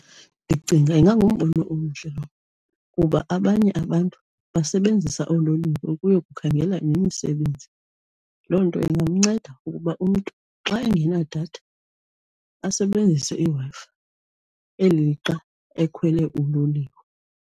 Ndicinga ingangumbono omhle lowo kuba abanye abantu basebenzisa oololiwe ukuyokukhangela nemisebenzi. Loo nto ingamnceda ukuba umntu xa engenadatha asebenzise iWi-Fi eli lixa ekhwele uloliwe.